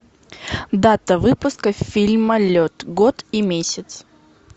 дата выпуска фильма лед год и месяц